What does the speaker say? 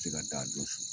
Se ka da don